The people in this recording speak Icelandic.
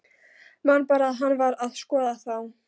Man bara að hann var að skoða þá.